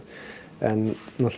en